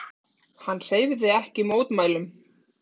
Hann hreyfði ekki mótmælum.